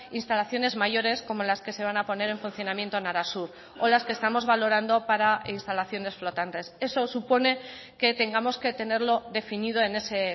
instalaciones mayores como las que se van a poner en funcionamiento en arasur o las que estamos valorando para instalaciones flotantes eso supone que tengamos que tenerlo definido en ese